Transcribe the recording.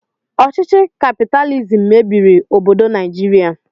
Ọchịchị kapitalizim mebiri obodo Naijiria.